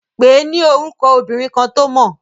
Pèé ni orúkọ obìnrin kan to mọ̀.